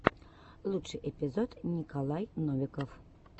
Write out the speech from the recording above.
лучший эпизод николай новиков